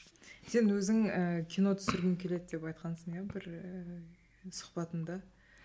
сен өзің ііі кино түсіргім келеді деп айтқансың иә бір ііі сұхбатыңда